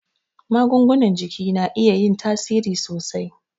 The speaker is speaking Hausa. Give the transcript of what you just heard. Magungunan jiki na iya yin tasiri sosai